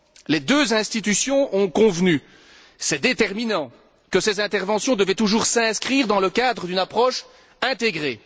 Les deux institutions ont convenu c'est déterminant que ces interventions devaient toujours s'inscrire dans le cadre d'une approche intégrée.